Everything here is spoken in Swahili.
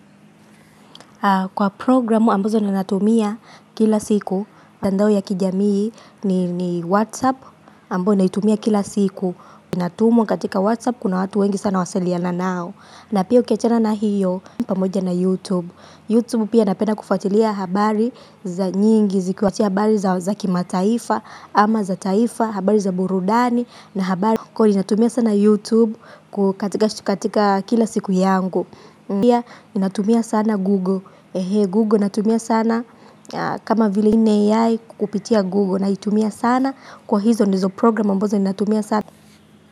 Kwa programu ambazo ninatumia kila siku mtandao ya kijamii ni whatsapp ambao naitumia kila siku. Inatumwa katika whatsapp kuna watu wengi sana wasiliana nao na pia ukiachana na hiyo pamoja na youtube Youtube pia napenda kufuatilia habari za nyingi zikiwa habari za kimataifa ama za taifa habari za burudani na habari kwa hiyo inatumia sana youtube katika kila siku yangu pia ninatumia sana Google Google natumia sana kama vile hii ni AI kukupitia Google. Naitumia sana kwa hizo ndizo program ambazo natumia sana.